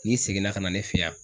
N'i seginna ka na ne fe yan